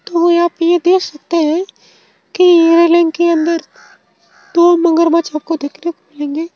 तो ये आप यह देख सकते हैं कि रेलिंग के अंदर दो मगरमच्छ आपको देखने को मिलेंगे।